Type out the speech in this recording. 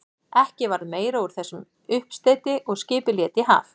Ekki varð meira úr þessum uppsteyti og skipið lét í haf.